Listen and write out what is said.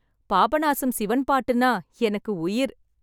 பாபநாசம் சிவன் பாட்டுன்னா எனக்கு உயிர்!